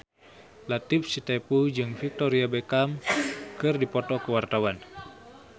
Latief Sitepu jeung Victoria Beckham keur dipoto ku wartawan